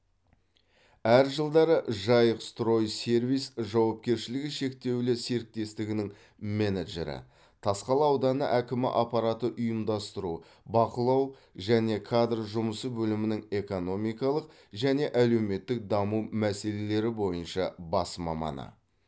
әр жылдары жайық строй сервис жауапкершілігі шектеулі серіктестігінің менеджері тасқала ауданы әкімі аппараты ұйымдастыру бақылау және кадр жұмысы бөлімінің экономикалық және әлеуметтік даму мәселелері бойынша бас маманы